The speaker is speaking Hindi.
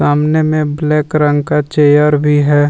सामने में ब्लैक रंग का चेयर भी है।